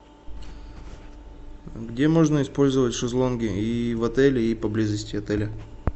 где можно использовать шезлонги и в отеле и поблизости отеля